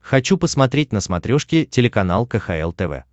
хочу посмотреть на смотрешке телеканал кхл тв